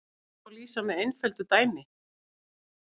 Þessu má lýsa með einföldu dæmi.